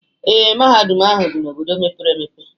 Ee, Mahadum ahu di n'obodo mepere emepe